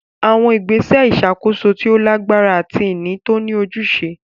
Àwọn ìgbésẹ̀ ìṣàkóso tó lágbára àti ìní tó ní ojúṣe.